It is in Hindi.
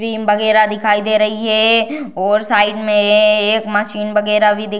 क्रीम वगेरह दिखाई दे रही है और साइड में एक मशीन वगेरह भी दि --